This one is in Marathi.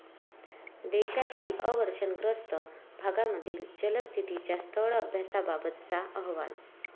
देशातील अवर्षणग्रस्त भागांमधील जलस्थितीच्या स्थळ अभ्यासाबाबतचा अहवाल